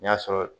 N'i y'a sɔrɔ